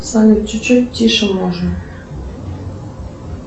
салют чуть чуть тише можно